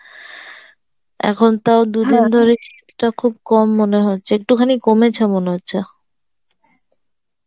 এখন তাও দুদিন ধরে শীত টা খুব কম মনে হচ্ছে, একটুখানি কমেছে মনে হচ্ছে